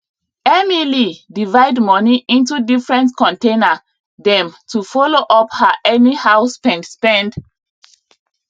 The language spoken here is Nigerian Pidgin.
emily divide money into different container dem to follow up her anyhow spend spend